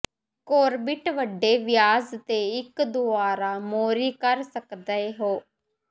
core bit ਵੱਡੇ ਵਿਆਸ ਦੇ ਇੱਕ ਦੁਆਰਾ ਮੋਰੀ ਕਰ ਸਕਦੇ ਹੋ